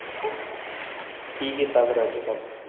ਕੀ ਕੀਤਾ ਫਿਰ ਅੱਜ?